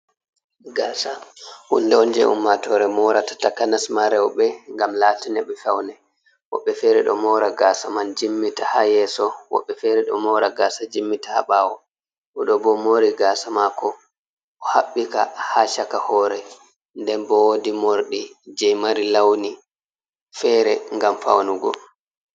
Gasa hunde on je umma tore morata. Takanasma rewɓe gam latana ɓe paune. Wobɓe fere ɗo mora gasa man jimmita ha yeso, woɓbe fere ɗo mora gasa jimmita ha ɓawo. Odo bo o mori gasa mako o habbika ha chaka hore, den bo wodi morɗi je mari launi fere gam faunugo